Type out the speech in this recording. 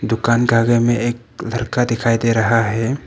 दुकान का आगे मे एक लड़का दिखाई दे रहा है।